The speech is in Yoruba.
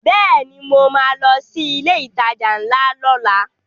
Bẹ́ẹ̀ni mo ma lọ sí ilé ìtajà ńlá lọ́la